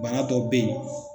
Bana dɔw be ye